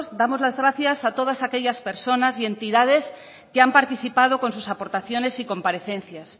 damos las gracias a todas aquellas personas y entidades que han participado con sus aportaciones y comparecencias